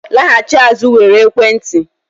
laghachi azụ were ekwentị